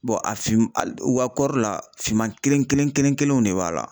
a fin a kɔɔri la, finman kelen kelen kelen kelenw de b'a la.